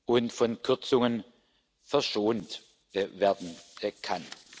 und von Kürzungen verschont werden kann.